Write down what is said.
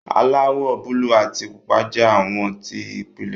aláwò buluu àti pupa jẹ awọ ti ìpìlẹ.